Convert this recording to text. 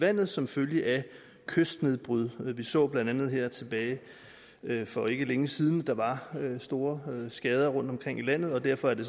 vandet som følge af kystnedbrydning vi så blandt andet her tilbage for ikke længe siden at der var store skader rundt omkring i landet og derfor er det